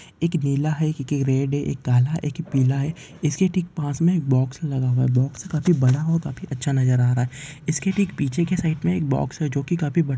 एक नीला है एक रेड एक काला एक पीला है। इसके ठीक पास मे एक बॉक्स लगा हुआ है बॉक्स काफी बड़ा और काफी अच्छा नज़र आ रहा है इसके ठीक पिछे के साइड मे एक बॉक्स है जोकी काफी ब--